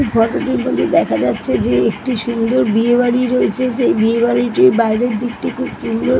এই ফটো টিতে দেখা যাচ্ছে যে একটি সুন্দর বিয়ে বাড়ি রয়েছেসেই বিয়ে বাড়িটির বাইরের দিকটি খুব সুন্দর |